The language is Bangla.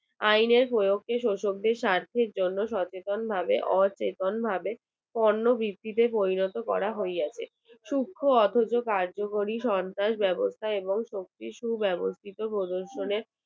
আইনের প্রয়োগকে শোষণের স্বার্থের জন্য সচেতন ভাবে অচেতনভাবে পণ্য বৃদ্ধিতে পরিণত করিয়া হইতাছে সূক্ষ্ম অথচ কার্যকরী সরকার ব্যবস্থা এবং শক্তি সুব্যবস্থিত পদর্শনের